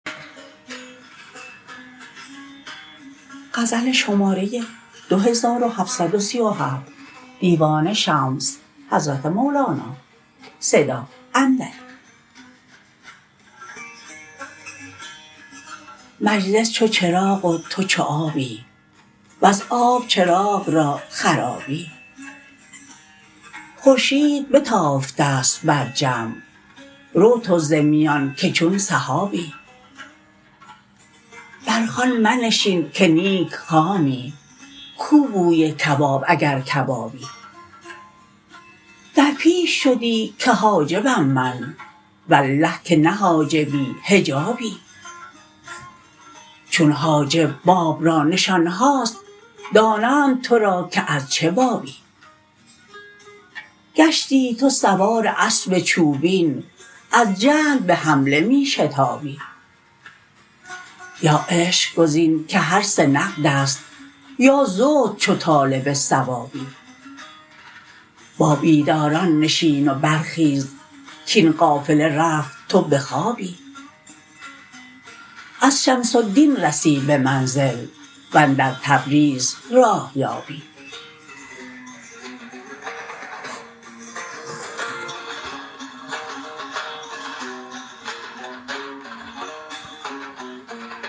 مجلس چو چراغ و تو چو آبی وز آب چراغ را خرابی خورشید بتافته ست بر جمع رو تو ز میان که چون سحابی بر خوان منشین که نیک خامی کو بوی کباب اگر کبابی در پیش شدی که حاجبم من والله که نه حاجبی حجابی چون حاجب باب را نشان هاست دانند تو را که از چه بابی گشتی تو سوار اسب چوبین از جهل به حمله می شتابی یا عشق گزین که هر سه نقد است یا زهد چو طالب ثوابی با بیداران نشین و برخیز کاین قافله رفت تو به خوابی از شمس الدین رسی به منزل و اندر تبریز راه یابی